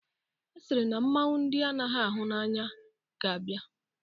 A sịrị na mmanwụ ndị anaghị ahụ anya ga-abia.